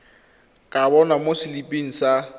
ka bonwa mo seliping sa